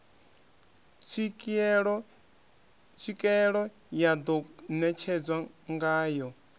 tswikeelo ya ḓo netshedzwa ngayo